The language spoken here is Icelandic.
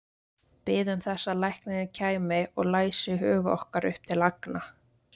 Biðum þess að læknirinn kæmi og læsi hug okkar upp til agna.